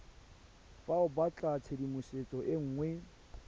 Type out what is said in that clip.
fa o batlatshedimosetso e nngwe